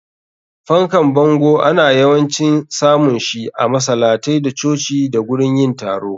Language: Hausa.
Fankan bango ana yawancin samun shi a masalatai da coci da gurin yin taro.